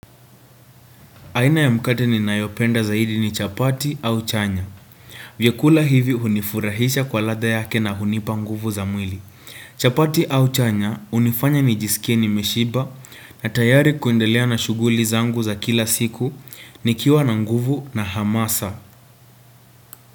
Aina ya mkate ninayopenda zaidi ni chapati au chanya. Vyakula hivi hunifurahisha kwa ladha yake na hunipa nguvu za mwili. Chapati au chanya hunifanya nijisikie nimeshiba na tayari kuendelea na shughuli zangu za kila siku nikiwa na nguvu na hamasa.